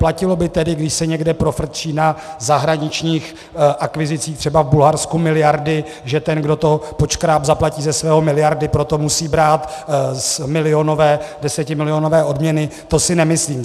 Platilo by tedy, když se někde profrčí na zahraničních akvizicích, třeba v Bulharsku, miliardy, že ten, kdo to podškrábl, zaplatí ze svého miliardy, proto musí brát milionové, desetimilionové odměny, to si nemyslím.